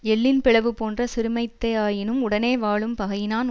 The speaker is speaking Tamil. எள்ளின் பிளவு போன்ற சிறுமைத்தேயாயினும் உடனே வாழும் பகையினான்